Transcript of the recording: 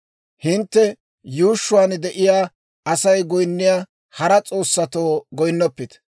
Hintte yuushshuwaan de'iyaa Asay goyinniyaa hara s'oossatoo goyinnoppite.